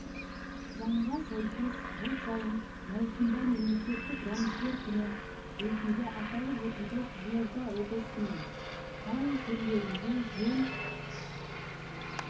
заңға сәйкес жыл сайын маусым мемлекеттік рәміздер күні ретінде аталып өтуде қызылорда облысының кей жерлерінде жел